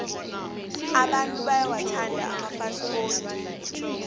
abantu bayawathanda amafasikodi